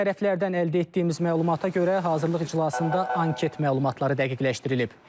Tərəflərdən əldə etdiyimiz məlumata görə hazırlıq iclasında anket məlumatları dəqiqləşdirilib.